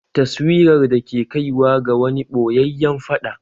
Taswirar da ke kaiwa ga wani ɓoyayyen fada